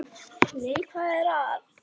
Nei, hvað er að?